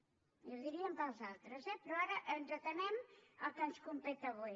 i ho diríem per als altres eh però ara ens atenem al que ens competeix avui